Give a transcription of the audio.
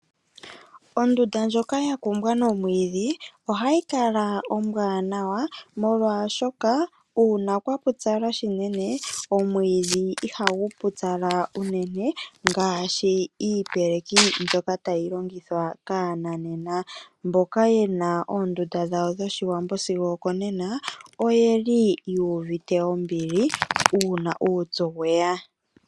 Ondunda ndjoka yakumbwa nomwiidhi ohayi kala ombwaanawa molwashoka uuna kwapupyala shinene omwiidhi ihagu pupyala unene ngaashi iipeleki mbyoka tayi longithwa kaananena. Mboka yena oondunda dhawo dhoshiwambo sigo okonena oyeli yuuvite ombili uuna uupyu weya.